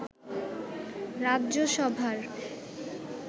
রাজ্য সভার